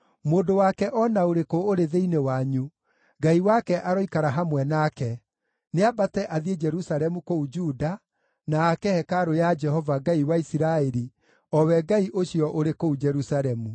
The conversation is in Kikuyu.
Mũndũ wake o na ũrĩkũ ũrĩ thĩinĩ wanyu, Ngai wake aroikara hamwe nake, nĩambate athiĩ Jerusalemu kũu Juda, na aake hekarũ ya Jehova, Ngai wa Isiraeli, o we Ngai ũcio ũrĩ kũu Jerusalemu.